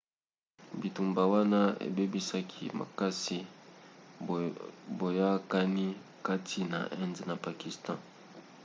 bitumba wana ebebisaki makasi boyakani kati na inde na pakistan